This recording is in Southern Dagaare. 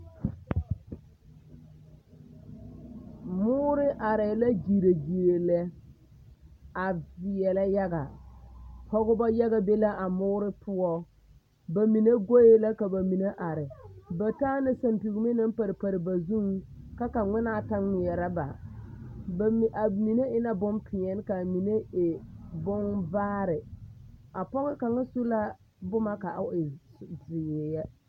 Moore arɛɛ la gyire gyire lɛ a veɛlɛ yaga pɔgebɔ yaga be la moore poɔ ba mine goe la ka ba mine are ba taa la sampeŋme naŋ pare pare na zuŋ ka ŋmenaa ta ŋmeɛrɛ ba ba mine a mine e la bonpeɛl ka mine e bonvaare a pɔge kaŋa su la boma ka a e zeɛ.